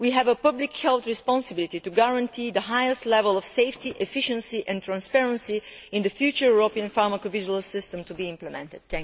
We have a public health responsibility to guarantee the highest level of safety, efficiency and transparency in the future European pharmacovigilance system to be implemented.